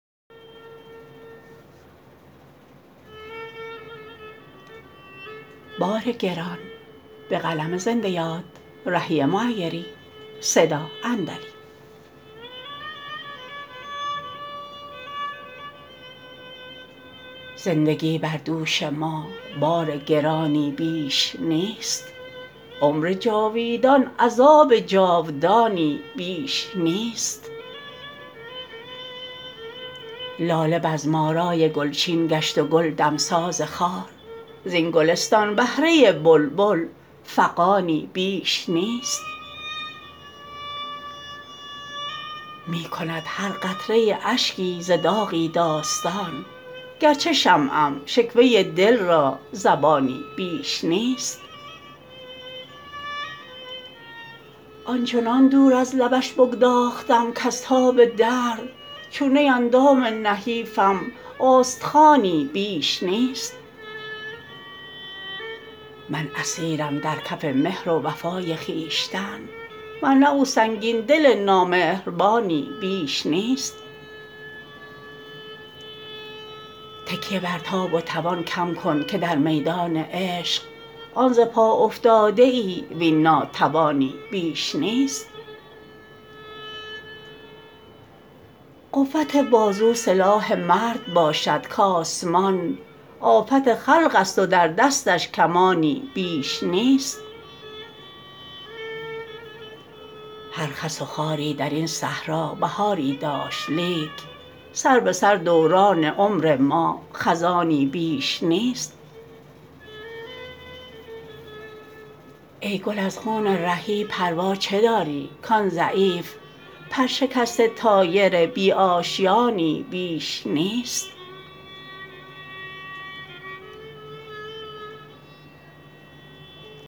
زندگی بر دوش ما بار گرانی بیش نیست عمر جاویدان عذاب جاودانی بیش نیست لاله بزم آرای گلچین گشت و گل دمساز خار زین گلستان بهره بلبل فغانی بیش نیست می کند هر قطره اشکی ز داغی داستان گرچه شمعم شکوه دل را زبانی بیش نیست آنچنان دور از لبش بگداختم کز تاب درد چون نی اندام نحیفم استخوانی بیش نیست من اسیرم در کف مهر و وفای خویشتن ورنه او سنگین دل نامهربانی بیش نیست تکیه بر تاب و توان کم کن که در میدان عشق آن ز پا افتاده ای وین ناتوانی بیش نیست قوت بازو سلاح مرد باشد کآسمان آفت خلق است و در دستش کمانی بیش نیست هر خس و خاری درین صحرا بهاری داشت لیک سربه سر دوران عمر ما خزانی بیش نیست ای گل از خون رهی پروا چه داری کان ضعیف پر شکسته طایر بی آشیانی بیش نیست